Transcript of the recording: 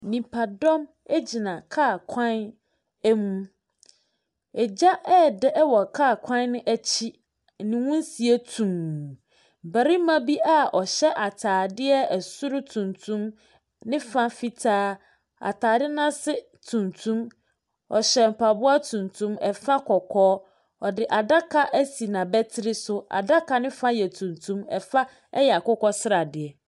Nnipa gyina kaa kwan mu, gya ɛredare wɔ kaa kwan no akyi, ne nwusie tumm. Barima bi a ɔhyɛ ataare soro tuntum, ne fa fitaa, ataare n’ase tuntum, ɔhyɛ mpaboa tuntum fa kɔkɔɔ. Ɔde adaka asi n’abatiri so, adaka ne fa yɛ tuntum, fa yɛ akokɔsradeɛ.